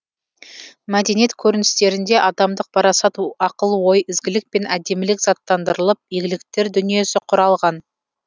мәдениет көріністерінде адамдық парасат оқыл ой ізгілік пен әдемілік заттандырылып игіліктер дүниесі құралған